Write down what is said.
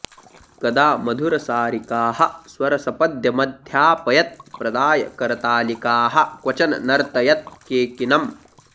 कदा मधुरसारिकाः स्वरसपद्यमध्यापयत् प्रदाय करतालिकाः क्वचन नर्तयत् केकिनम्